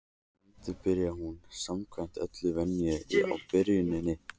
Að endingu byrjaði hún samkvæmt öllum venjum á byrjuninni.